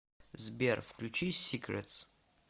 сбер включи сикретс